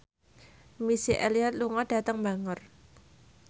Missy Elliott lunga dhateng Bangor